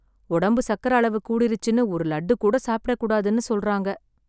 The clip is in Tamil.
உடம்பு சக்கரை அளவு கூடிருச்சுன்னு ஒரு லட்டு கூட சாப்பிடக் கூடாதுன்னு சொல்றாங்க.